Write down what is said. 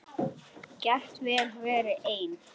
Get vel verið ein.